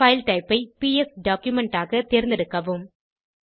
file type ஐ PS document ஆக தேர்ந்தெடுக்கவும்